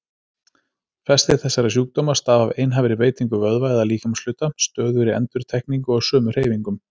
Flestir þessara sjúkdóma stafa af einhæfri beitingu vöðva eða líkamshluta, stöðugri endurtekningu á sömu hreyfingum.